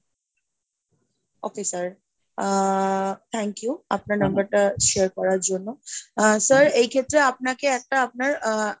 okay sir ah thank you আপনার number টা share করার জন্য, আহ sir এই ক্ষেত্রে আপনাকে একটা আপনার আহ,